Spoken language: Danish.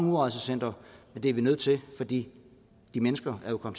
udrejsecentre men det er vi nødt til fordi de mennesker jo er